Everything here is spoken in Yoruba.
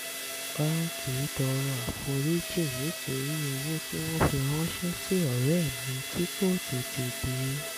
báńkì tọrọ àforíjì nítorí owó tí wọ́n fi ránṣẹ́ sí ọ̀rẹ́ mi kò tètè dé